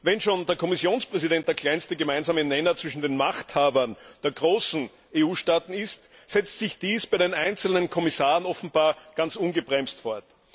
Wenn schon der Kommissionspräsident der kleinste gemeinsame Nenner zwischen den Machthabern der großen EU Staaten ist, setzt sich dies bei den einzelnen Kommissaren offenbar ganz ungebremst fort.